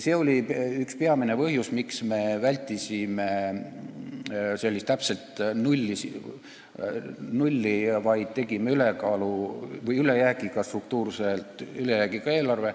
See oli üks peamisi põhjusi, miks me vältisime täpset nulli ning tegime struktuurse ülejäägiga eelarve.